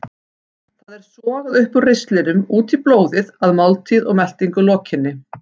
Það er sogað upp úr ristlinum út í blóðið að máltíð og meltingu lokinni.